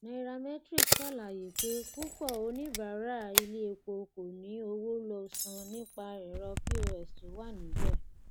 nairametrics ṣàlàyé pé púpọ oníbàárà ilé epo kò ní owó lo san nípa ẹrọ pos tó wà níbẹ